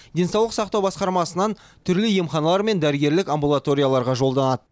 денсаулық сақтау басқармасынан түрлі емханалар мен дәрігерлік амбулаторияларға жолданады